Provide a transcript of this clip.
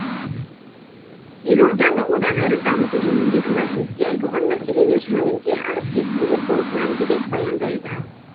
елорданы одан әрі дамыту жөніндегі мәжілісте айтылған мәселелер жөнінде әріптесім ербол мәндібек баяндайды